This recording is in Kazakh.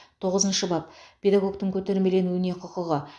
тоғызыншы бап педагогтің көтермеленуге құқығы